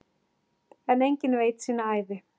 En enginn veit sína ævi.